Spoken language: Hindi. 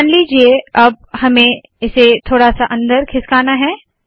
मान लीजिए अब हमें इसे थोडा सा अंदर खिसकाना है